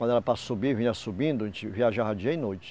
Quando era para subir, vinha subindo, a gente viajava dia e noite.